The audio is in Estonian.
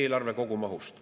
eelarve kogumahust.